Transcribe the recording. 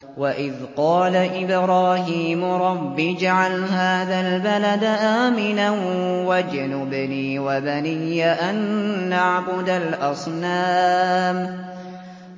وَإِذْ قَالَ إِبْرَاهِيمُ رَبِّ اجْعَلْ هَٰذَا الْبَلَدَ آمِنًا وَاجْنُبْنِي وَبَنِيَّ أَن نَّعْبُدَ الْأَصْنَامَ